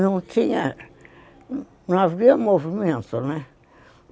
Não havia movimento, né?